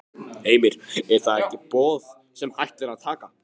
Heimir: Er það ekki boð sem hægt er að taka?